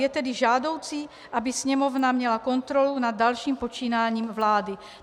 Je tedy žádoucí, aby Sněmovna měla kontrolu nad dalším počínáním vlády.